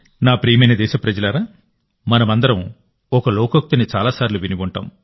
నా ప్రియమైన దేశప్రజలారా మనమందరం ఒక లోకోక్తిని చాలాసార్లు విని ఉంటాం